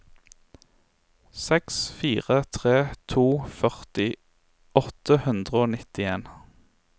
seks fire tre to førti åtte hundre og nittien